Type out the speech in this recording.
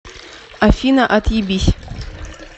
афина отъебись